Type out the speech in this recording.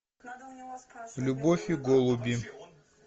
любовь и голуби